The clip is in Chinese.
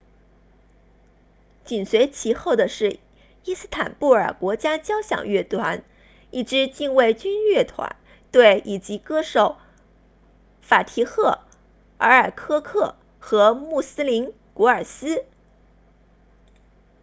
紧随其后的是伊斯坦布尔国家交响乐团 istanbul state symphony orchestra 一支禁卫军乐队以及歌手法提赫埃尔科克 fatih erkoc 和穆斯林古尔斯 muslum gurses